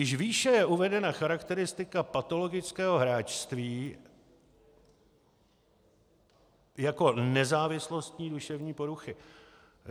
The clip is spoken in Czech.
Již výše je uvedena charakteristika patologického hráčství jako nezávislostní duševní poruchy.